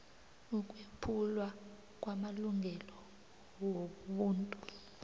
ukwephulwa kwamalungelo wobuntu